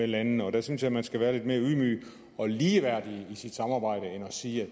lande og der synes jeg man skal være lidt mere ydmyg og ligeværdig i sit samarbejde end at sige at